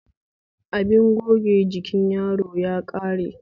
Abin goge jikin yaro ya ƙare